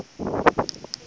kofi